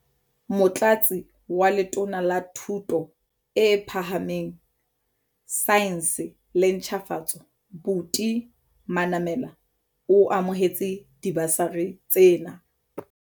Motlatsi wa Letona la Thuto e Phahameng, Saense le Ntjhafatso, Buti Manamela, o amohetse dibasari tsena.